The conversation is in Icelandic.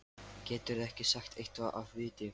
Geturðu ekki sagt eitthvað af viti?